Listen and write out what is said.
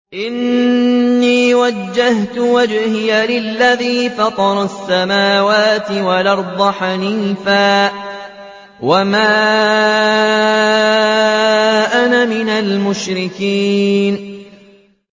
إِنِّي وَجَّهْتُ وَجْهِيَ لِلَّذِي فَطَرَ السَّمَاوَاتِ وَالْأَرْضَ حَنِيفًا ۖ وَمَا أَنَا مِنَ الْمُشْرِكِينَ